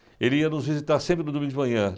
Ele ia nos visitar sempre no domingo de manhã.